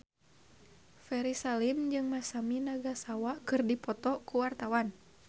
Ferry Salim jeung Masami Nagasawa keur dipoto ku wartawan